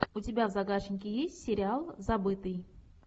у тебя в загашнике есть сериал забытый